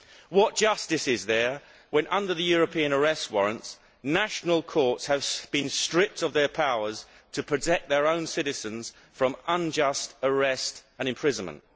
What justice is there when, under the European arrest warrants, national courts have been stripped of their powers to protect their own citizens from unjust arrest and imprisonment?